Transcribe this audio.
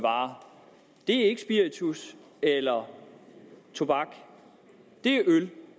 varer det er ikke spiritus eller tobak det er øl